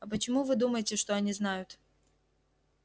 а почему вы думаете что они знают